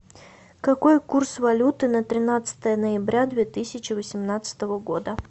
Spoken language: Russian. какой курс валюты на тринадцатое ноября две тысячи восемнадцатого года